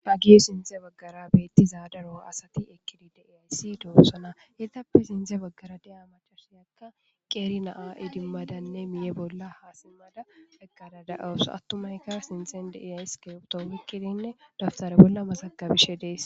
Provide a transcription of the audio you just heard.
Hagey sintha baggara daro asati eqqi siyido de7osona etappe sinthe baggara de7iyabatikka qeeri na7a idimadanne miiye bolla eqqadanne ha simmada de7awus,attumayika iskibirtto oykkidi mazagabishe de7ees.